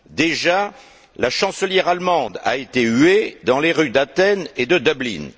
Déjà, la chancelière allemande a été huée dans les rues d'Athènes et de Dublin.